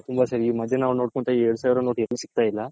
ಎರಡು ಸಾವಿರ note ಎಲ್ಲೂ ಸಿಗ್ತೈಲ್ಲ